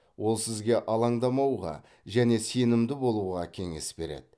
ол сізге алаңдамауға және сенімді болуға кеңес береді